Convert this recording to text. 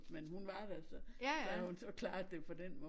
Men hun var der så så havde hun så klaret det på dén måde